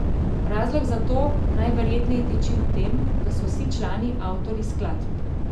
Razlog za to najverjetneje tiči v tem, da so vsi člani avtorji skladb.